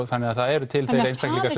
þannig að það eru til þeir einstaklingar